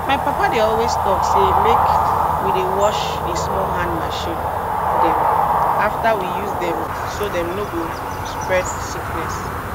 my papa dey always tok say make we dey wash di small hand machine dem afta we use dem so dem no go spread sickness